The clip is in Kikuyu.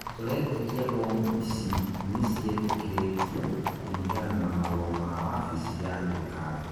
turetĩkia mbomu ici nĩ cietĩkĩrĩtio, kũringana na marũa ma wabici ya thirikari